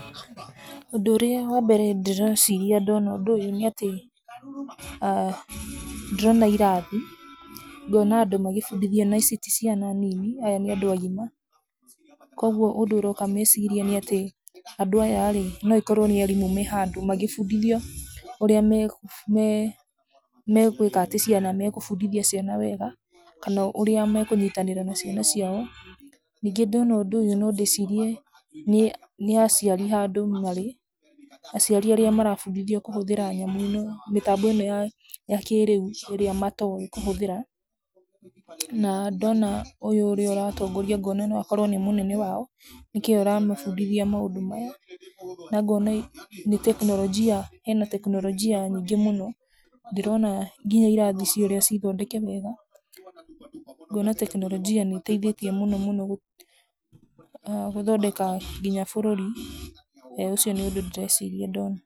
Ũndũ ũrĩa wa mbere ndĩreciria ndona ũndũ ũyũ nĩ atĩ, ndĩrona irathi, ngona andũ magabundithio na ici ti ciana nini aya nĩ andũ agima. Koguo ũndũ ũrĩa ũroka meciria-inĩ nĩ atĩ andũ aya no akorwo nĩ arimũ me handũ magabundithio ũrĩa me, me me gwĩkatĩ ciana, megũbundithia ciana wega kana ũrĩa mekũnyitanĩra na ciana ciao. Ningĩ ndona ũndũ ũyũ no ndĩcirie nĩ aciari handũ marĩ, aciari arĩa marabundithio kũhũthĩra nyamũ ĩno, mĩtambo ĩno ya kĩrĩu ĩrĩa matoĩ kũhũthĩra, na ndona ũyũ ũrĩa ũratongoria ngona no akorwo nĩ mũnene wao nĩkio aramabundithia maũndũ maya na ngona nĩ ena tekinoronjia nyingĩ mũno, ndĩrona nginya irathi ici ũrĩa cithondeke wega ngona tekinoronjia nĩ ĩtethĩtie mũno mũno gũthondeka nginya bũrũri, ũcio nĩ ũndũ ndĩreciria ndona.